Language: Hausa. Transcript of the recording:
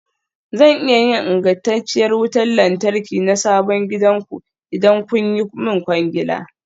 Zan iya yin ingantacciyar wutar lantarki na sabon gidanku, idan kun yi min kwangila.